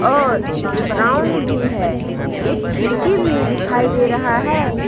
और ब्राउन भी है एक खिड़की भी दिखाई दे रहा है।